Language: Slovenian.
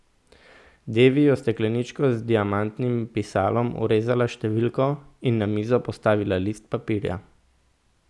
Devi je v stekleničko z diamantnim pisalom vrezala številko in na mizo postavila list papirja.